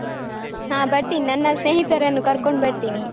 ಹ ಬರ್ತೀನಿ. ನನ್ನ ಸ್ನೇಹಿತರನ್ನು ಕರ್ಕೊಂಡು ಬರ್ತೀನಿ.